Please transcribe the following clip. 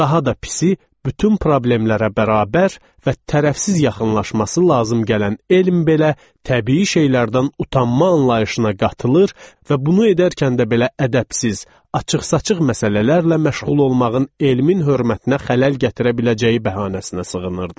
Daha da pisi, bütün problemlərə bərabər və tərəfsiz yaxınlaşması lazım gələn elm belə təbii şeylərdən utanma anlayışına qatılır və bunu edərkən də belə ədəbsiz, açıq-saçıq məsələlərlə məşğul olmağın elmin hörmətinə xələl gətirə biləcəyi bəhanəsinə sığınırdı.